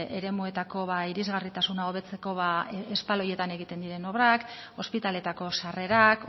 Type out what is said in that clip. eremuetako irisgarritasuna hobetzeko espaloietan egiten diren obrak ospitaletako sarrerak